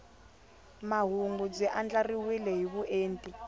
mahungu byi andlariwile hi vuenti